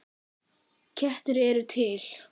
Kettir eru til